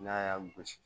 N'a y'a gosi